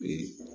Ee